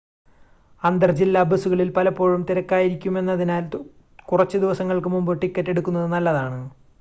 അന്തർ ജില്ലാ ബസുകളിൽ പലപ്പോഴും തിരക്കായിരിക്കുമെന്നതിനാൽ കുറച്ച് ദിവസങ്ങൾക്ക് മുമ്പ് ടിക്കറ്റ് എടുക്കുന്നത് നല്ലതാണ്